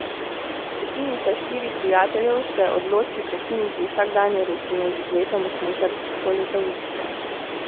Skupinica štirih prijateljev se odloči prekiniti vsakdanjo rutino z izletom v smučarsko letovišče.